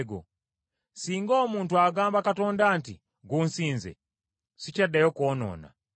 “Singa omuntu agamba Katonda nti, gunsinze, sikyaddayo kwonoona,